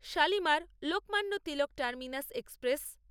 Shalimar-Lokmanya Tilak terminus express